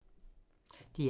DR1